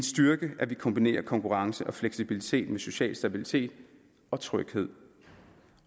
styrke at vi kombinerer konkurrence og fleksibilitet med social stabilitet og tryghed